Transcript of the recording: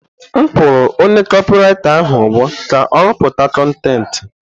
M kwụrụ onye kopị writa ahụ ụgwọ ka ọ rụpụta kọntentị.